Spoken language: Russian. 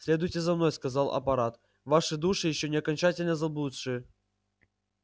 следуйте за мной сказал апорат ваши души ещё не окончательно заблудшие